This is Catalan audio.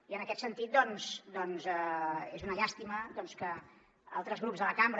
i en aquest sentit doncs és una llàstima doncs que altres grups de la cambra